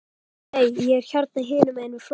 Nei, ég er hérna hinum megin við flóann.